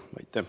Aitäh!